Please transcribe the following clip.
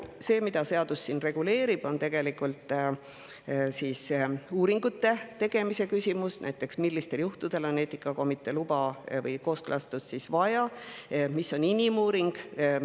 See, mida see seadus siin reguleerib, on uuringute tegemise küsimus, näiteks millistel juhtudel on vaja eetikakomitee luba või kooskõlastust ja mis on inimuuring.